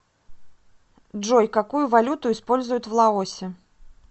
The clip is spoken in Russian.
джой какую валюту используют в лаосе